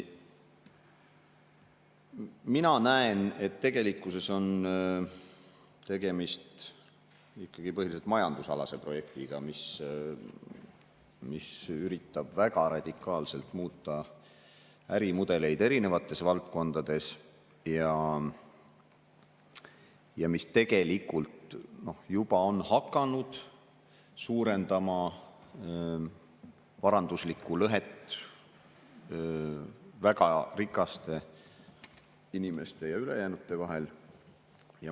Mina näen, et tegelikkuses on tegemist ikkagi põhiliselt majandusprojektiga, mis üritab väga radikaalselt muuta ärimudeleid erinevates valdkondades ja mis tegelikult juba on hakanud suurendama varanduslikku lõhet väga rikaste inimeste ja ülejäänute vahel.